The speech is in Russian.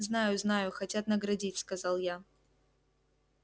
знаю знаю хотят наградить сказал я